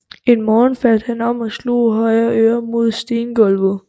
En morgen faldt han om og slog højre øre mod stengulvet